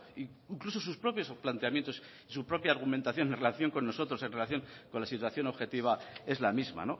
incluso sus propios planteamientos y su propia argumentación en relación con nosotros en relación con la situación objetiva es la misma